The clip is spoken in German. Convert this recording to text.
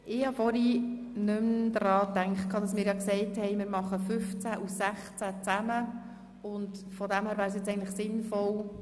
Ich habe vorhin nicht mehr daran gedacht, dass wir ja beschlossen haben, die Artikel 15 und 16 gemeinsam zu beraten.